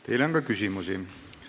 Teile on ka küsimusi.